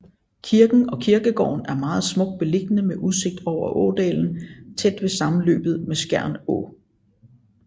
Kirken og kirkegården er meget smukt beliggende med udsigt over ådalen tæt ved sammenløbet med Skjern Å